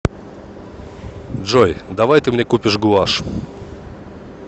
джой давай ты мне купишь гуашь